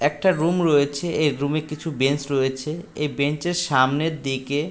একটা রুম রয়েছে এ রুম -এ কিছু বেঞ্চ রয়েছে এ বেঞ্চের সামনের দিকে--